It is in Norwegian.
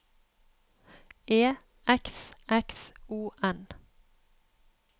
E X X O N